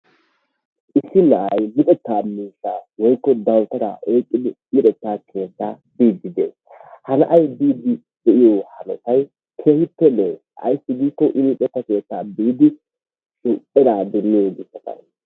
Issi na'ay luxetta miishsha woykko dawutaara oyqqidi luxetta keetta bidide de'ees. Ha na'ay bidide de'iyaa hanotay keehippe lo'o. Ayssi giiko I luxetta keetta biidi eraa demiyoo gishshataw.